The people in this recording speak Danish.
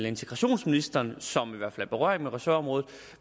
integrationsministeren som i hvert fald berøring med ressortområdet